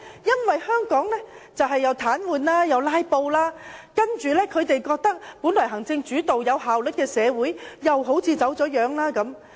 因為香港立法會出現癱瘓和"拉布"，本來由行政主導而具有效率的社會又好像走了樣。